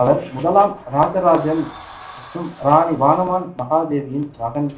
அவர் முதலாம் இராஜராஜன் மற்றும் ராணி வானவன் மகாதேவியின் மகன்,